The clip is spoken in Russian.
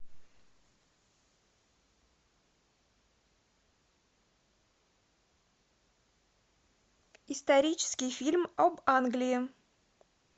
исторический фильм об англии